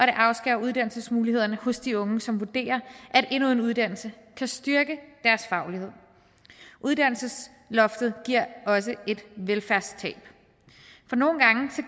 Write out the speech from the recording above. afskærer uddannelsesmulighederne hos de unge som vurderer at endnu en uddannelse kan styrke deres faglighed uddannelsesloftet giver også et velfærdstab for nogle gange